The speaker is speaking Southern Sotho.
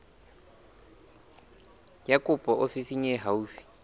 ya kopo ofising e haufi